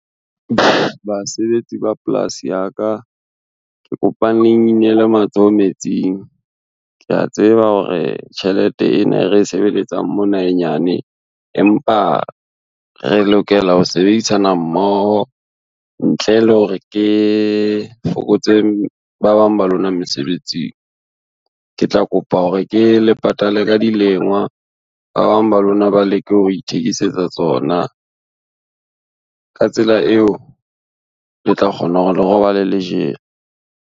Basebetsi ba polasi ya ka, ke kopang le nginele matsoho metsing. Ke a tseba hore tjhelete ena e re sebeletsang mona e nyane, empa re lokela ho sebedisana mmoho ntle le hore ke fokotse ba bang ba lona mesebetsing. Ke tla kopa hore ke le patale ka dilengwa, ba bang ba lona ba leke ho ithekisetsa tsona ka tsela eo, le tla kgona hore le robale le jele.